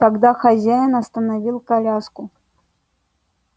тогда хозяин остановил коляску